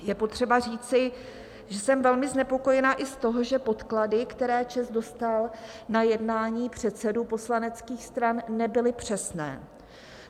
Je potřeba říci, že jsem velmi znepokojena i z toho, že podklady, které ČEZ dostal na jednání předsedů poslaneckých stran, nebyly přesné.